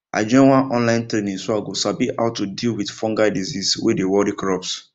i join one online training so i go sabi how to deal with fungal disease wey dey worry crops